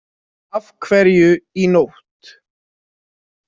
Af hverju í nótt?